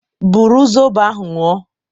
Bụrụ zọbọ ahụ ñyu o